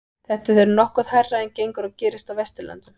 þetta er nokkuð hærra en gengur og gerist á vesturlöndum